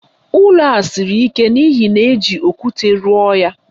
Ụlọ a siri ike n'ihi na éjị okwute rụọ ya